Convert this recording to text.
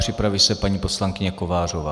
Připraví se paní poslankyně Kovářová.